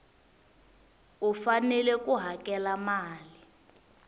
u fanele ku hakela mali